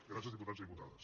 gràcies diputats i diputades